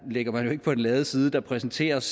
ligger man jo ikke på den lade side der præsenteres